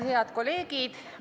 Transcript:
Head kolleegid!